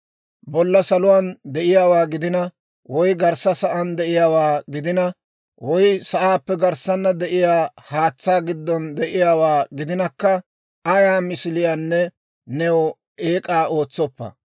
«Bolla saluwaan de'iyaawaa gidina, woy garssa sa'aan de'iyaawaa gidina, woy sa'aappe garssana de'iyaa haatsaa giddon de'iyaawaa gidinakka, ayaa misiliyaanne new eek'aa ootsoppa.